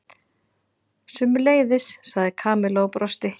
Sömuleiðis sagði Kamilla og brosti.